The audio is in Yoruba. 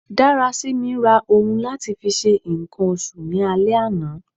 Darasimi ra ohun lati fi ṣe nkan oṣù ni ale ana